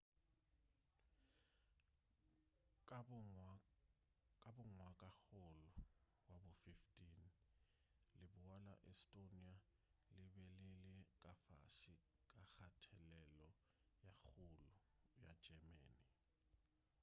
ka bo ngwagakgolo wa bo 15 leboa la estonia le be le le ka fase ga kgathelelo ye kgolo ya germany